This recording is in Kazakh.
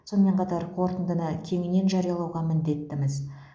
сонымен қатар қорытындыны кеңінен жариялауға міндеттіміз